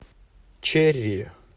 черри